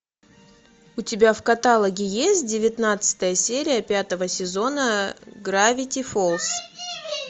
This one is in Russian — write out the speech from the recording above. у тебя в каталоге есть девятнадцатая серия пятого сезона гравити фолз